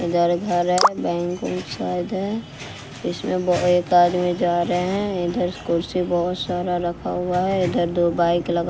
इधर घर है बैंक उस साइड है इसमें ब एक आदमी जा रहे है इधर कुर्सी बहोत सारा रखा हुआ है इधर दो बाइक लगा--